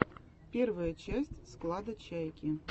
первая часть склада чайки